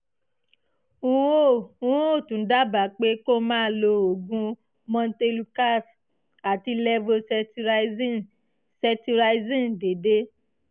n ó n ó tún dábàá pé kó máa lo oògùn montelukast àti levocetirizine cetirizine déédé